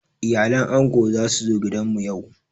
Iyalan ango za su zo gidan mu yau.